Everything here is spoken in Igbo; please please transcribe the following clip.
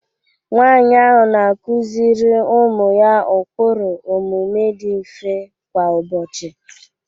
nwanyị ahụ na-akụziri ụmụ ya ụkpụrụ omume dị mfe kwa ụbọchị